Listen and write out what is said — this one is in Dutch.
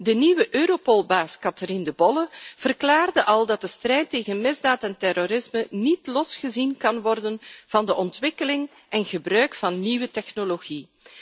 De nieuwe Europolbaas Catherine De Bolle verklaarde al dat de strijd tegen misdaad en terrorisme niet los kan worden gezien van de ontwikkeling en het gebruik van nieuwe technologie.